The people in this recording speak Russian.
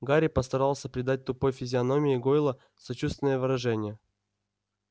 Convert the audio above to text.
гарри постарался придать тупой физиономии гойла сочувственное выражение